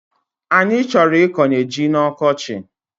Anyi choro ikonye ji n'okochi